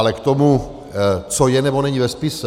Ale k tomu, co je nebo není ve spise.